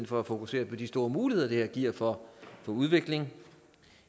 for at fokusere på de store muligheder det her giver for udvikling